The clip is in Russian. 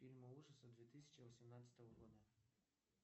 фильмы ужасов две тысячи восемнадцатого года